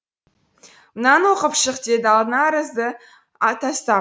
мынаны оқып шық деді алдына арызды атастап